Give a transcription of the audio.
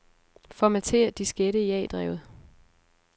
Formater diskette i A-drevet.